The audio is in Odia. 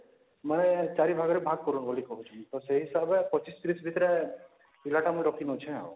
ମାନେ ୪ ଭାଗରେ ଭାଗ କରୁନ ବୋଲି କହୁଚନ ତ ସେ ହିସାବରେ ୨୫ ୩୦ ଭିତରେ ପିଲା ଟା ମୁଁ ରଖି ନଉଁଛେ